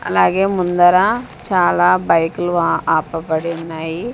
అలాగే ముందర చాలా బైకులు ఆ ఆపబడి ఉన్నాయి.